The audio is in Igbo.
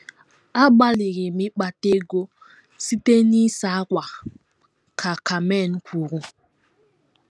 “ Agbalịrị m ịkpata ego site n’ịsa ákwà, ” ka Carmen kwuru.